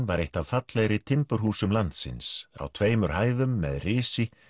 var eitt af fallegri timburhúsum landsins á tveimur hæðum með risi